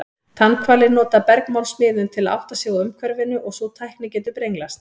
Tannhvalir nota bergmálsmiðun til að átta sig á umhverfinu og sú tækni getur brenglast.